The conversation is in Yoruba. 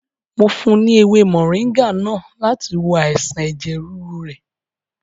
Mo fún un ní èwe mọ̀ríngá náà láti wo àìsàn ẹ̀jẹ̀ rúru rẹ̀.